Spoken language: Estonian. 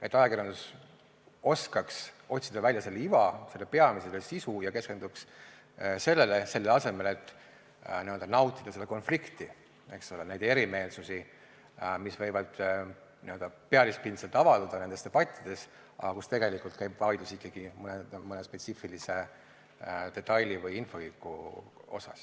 et ajakirjandus oskaks otsida välja selle iva, peamise sisu, ja keskenduks sellele, selle asemel et n-ö nautida seda konflikti, neid erimeelsusi, mis võivad pealispindselt avalduda nendes debattides, aga kus tegelikult käib vaidlus ikkagi mõne spetsiifilise detaili või infoühiku üle.